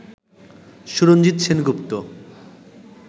Suranjit Sengupta